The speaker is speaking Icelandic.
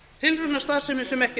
tilraunastarfsemi sem ekki